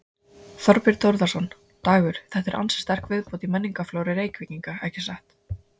Þorbjörn Þórðarson: Dagur þetta er ansi sterk viðbót í menningarflóru Reykvíkinga ekki satt?